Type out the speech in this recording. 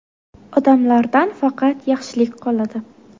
Odamlardan faqat yaxshilik qoladi.